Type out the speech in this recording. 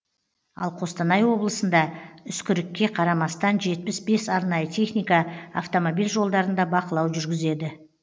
ал қостанай облысында үскірікке қарамастан жетпіс бес арнайы техника автомобиль жолдарында бақылау жүргізеді